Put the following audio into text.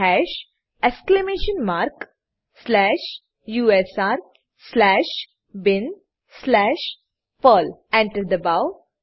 હાશ exclamation mark slash u s r slash bin slash Perl Enter enter દબાવો